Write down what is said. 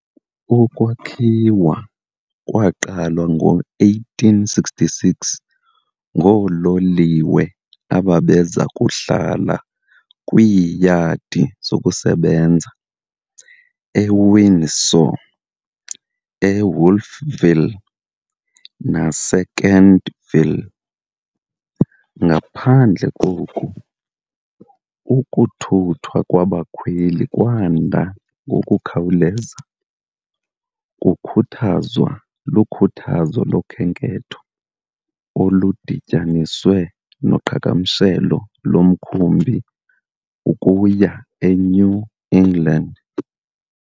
Ukwakhiwa kwaqalwa ngo-1866 ngoololiwe ababeza kuhlala kwiiyadi zokusebenza eWindsor, eWolfville naseKentville. Ngaphandle koku, ukuthuthwa kwabakhweli kwanda ngokukhawuleza, kukhuthazwa lukhuthazo lokhenketho oludityaniswe noqhagamshelo lomkhumbi ukuya eNew England.